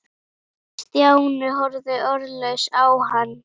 Stjáni horfði orðlaus á hann.